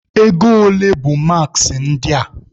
Ego ole bụ maaskị ndị a?